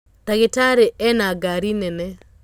Ndagĩtarĩena ngari nene.